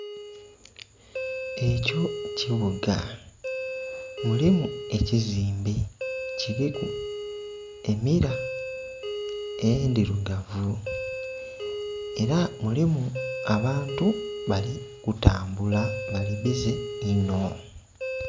Ekyo kibuga mulimu ekizimbe kiliku emilla endhirugavu era mulimu abantu bali kutambula bali bizze onho.